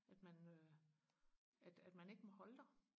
at man øh at man ikke må holde der